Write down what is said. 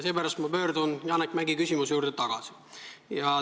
Seepärast ma pöördun Janek Mäggi küsimuse juurde tagasi.